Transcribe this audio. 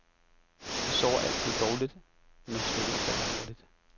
Vi sover altid dårligt, når trykket falder hurtigt.